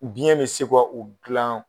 Biyɛn bɛ se ka u dilan